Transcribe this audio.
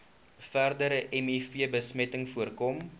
verdere mivbesmetting voorkom